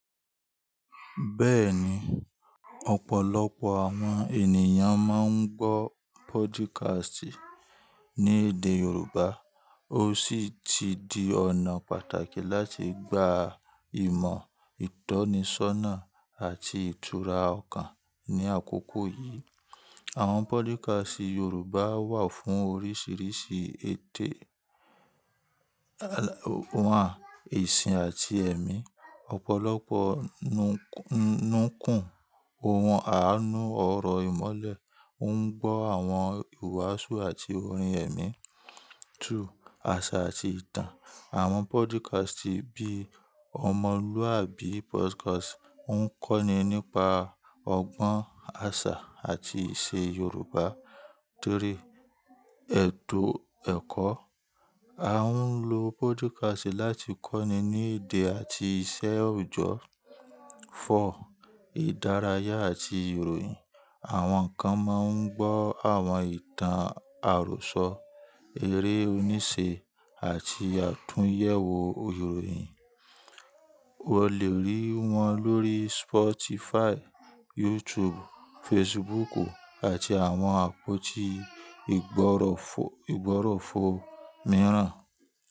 Bẹ́ẹ̀ni, ọ̀pọ̀lọpọ̀ àwọn ènìyàn máa ń gbọ́ podcast ní èdè Yorùbá. Ó sì ti di ọ̀nà pàtàkì láti gba ìmọ̀, ìtọ́nisọ́nà àti ìtura ọkàn ní àkókò yìí. Àwọn podcast Yorùbá wà fún oríṣiríṣi eto. Ìsìn àti ẹ̀mí. Ọ̀pọ̀lọpọ̀ ohun àánú ọ̀rọ̀ ìmọ̀le tó ń gbọ́ àwọn ìwàásù àti orin ẹ̀mí. Àṣà àti ìtàn. Àwọn podcast bí i Omolúàbí Podcast ouń kọ́ni nípa ọgbọ́n àṣà àti ìṣe Yorùbá. Ẹ̀tọ́ ẹ̀kọ́. A ń lo podcast láti kọ́ni ní èdè àti iṣẹ́ òjọ́. Ìdárayá àti ìròyìn. Àwọn kan máa ń gbọ́ àwọn ìtàn àròsọ, eré oníṣe àti àtúnyẹ̀wò ìròyìn. O lè rí wọn lórí Spotify, YouTube, Facebook àti àwọn àpótí ìgbọ̀rọ̀fọ̀ mìíràn.